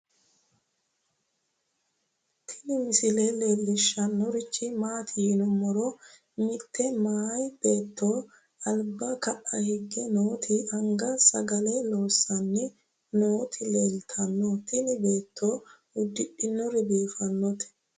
tini misile leellishannorichi maati yiniro mitte meya beetto alba ka'a higge nooti anga sagale loossanni nooti leeltanno tini beetto uddidhinori biifannoreeti